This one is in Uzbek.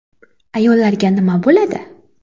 Ayollarga nima bo‘ladi?